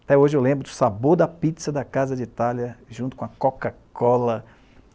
Até hoje eu lembro do sabor da pizza da casa de Itália, junto com a Coca-Cola.